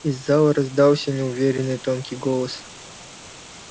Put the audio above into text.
из зала раздался неуверенный тонкий голос